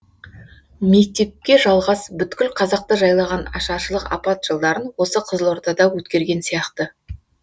мектепке жалғас бүткіл қазақты жайлаған ашаршылық апат жылдарын осы қызылордада өткерген сияқты